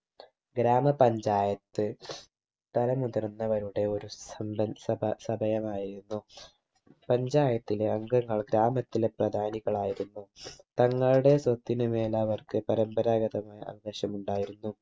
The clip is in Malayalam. ഗ്രാമ panchayat തല മുതിർന്നവരുടെ ഒരു സമ്പൽ സഭ സഭയമായിരുന്നു panchayat ലെ അംഗങ്ങൾ ഗ്രാമത്തിലെ പ്രധാനികളായിരുന്നു തങ്ങളുടെ സ്വത്തിനുമേൽ അവർക്ക് പരമ്പരാഗതമായ അവകാശം ഉണ്ടായിരുന്നു